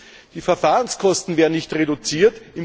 Und drittens Die Verfahrenskosten werden nicht reduziert